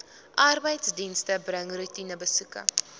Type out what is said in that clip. arbeidsdienste bring roetinebesoeke